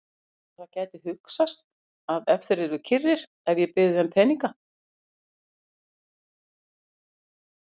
Heldurðu að það gæti hugsast að þeir yrðu kyrrir ef ég byði þeim peninga?